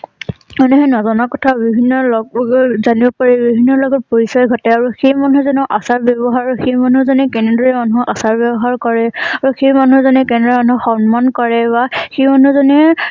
মানে সেই নজনা কথা বিভিন্ন লগ জাবিন পাৰি বিভিন্ন লগত পৰিচয় ঘটে আৰু সেই মানুহ জনৰ আচাৰ ব্যহাৰৰ ভিত্তিত সেই মানুহ জনে কেনেদৰে মানুহক আচাৰ ব্যৱহাৰ কৰে আৰু সেই মানুহ জনে কেনে ধৰণৰ সন্মান কৰে বা সেই মানুহ জনে